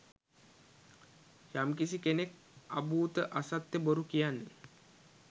යම්කිසි කෙනෙක් අභූත අසත්‍ය බොරු කියන්නේ